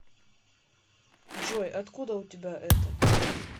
джой откуда у тебя это